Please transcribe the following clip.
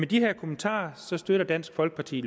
de her kommentarer støtter dansk folkeparti